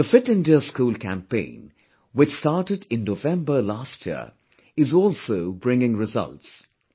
The 'Fit India School' campaign, which started in November last year, is also bringing results